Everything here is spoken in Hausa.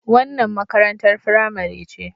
Wannan makarantar firamare ce.